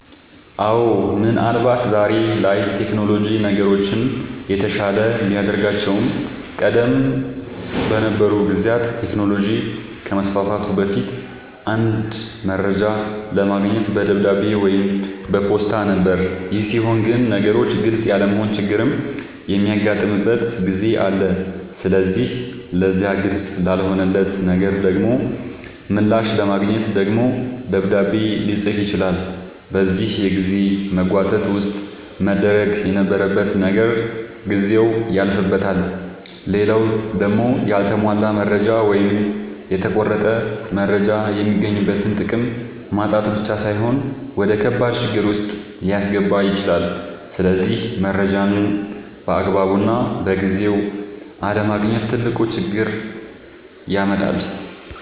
አወ ምን አልባት ዛሬ ላይ ቴክኖሎጅ ነገሮችን የተሻለ ቢያደርጋቸውም ቀደም በነበሩ ጊዜያት ቴክኖሎጅ ከመስፋፋቱ በፊት አንድ መረጃ ለማግኘት በደብዳቤ ወይም በፖስታ ነበር ይሄ ሲሆን ግን ነገሮች ግልፅ ያለመሆን ችግርም የሚያጋጥምበት ጊዜ አለ ስለዚህ ለዛ ግልፅ ላልሆነለት ነገር ደሞ ምላሽ ለማግኘት ደግሞ ደብዳቤ ልፅፍ ይችላል በዚህ የጊዜ መጓተት ውስጥ መደረግ የነበረበት ነገር ጊዜው ያልፍበታል። ሌላው ደሞ ያልተሟላ መረጃ ወይም የተቆረጠ መረጃ የሚገኝበትን ጥቅም ማጣት ብቻ ሳይሆን ወደከባድ ችግር ዉስጥ ሊያስገባ ይችላል ስለዚህ መረጃን ባግባቡና በጊዜው አለማግኘት ትልቅ ችግር ያመጣል